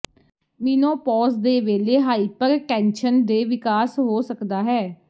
menopause ਦੇ ਵੇਲੇ hypertension ਦੇ ਵਿਕਾਸ ਹੋ ਸਕਦਾ ਹੈ